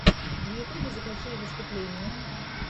в ютюбе закачай выступления